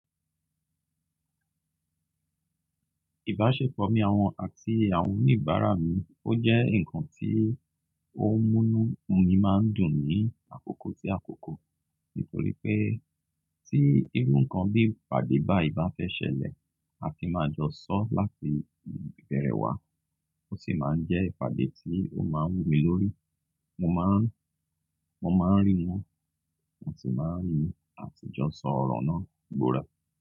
Ìbáṣepọ̀ mi àti àwọn oníbàárà mi ó jẹ́ ǹkan tí ó múnu mí máa ń dùn ní àkókò sí àkókò nítorí pé tí irú ǹkan bí ìpàdé bá ìbá fẹ́ ṣẹlẹ̀ a ti máa jọ sọ láti ìbẹ̀rẹ̀ wá ó sì máa ń jẹ́ ìpàdé tí ó má ń wù mí lórí. Mo máa ń rí wọ́n, wọ́n sì máa ń rí mi a sì jọ sọ ọ̀rọ̀ náà gbọ́rọ̀